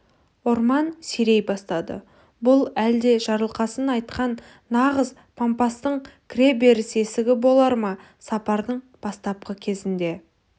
орман сирей бастады бұл әлде жарылқасын айтқан нағыз пампастың кіреберіс есігі болар ма сапардың бастапқы кезінде